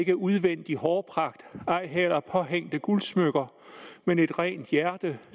er udvendig hårpragt ej heller påhængte guldsmykker men et rent hjerte